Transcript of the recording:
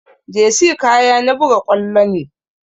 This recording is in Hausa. Jersey kaya na buga ƙwallo ne